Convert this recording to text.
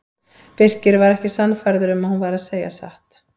Birkir var ekki sannfærður um að hún væri að segja satt.